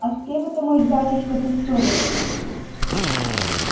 а с кем это мой батюшка ты ссорился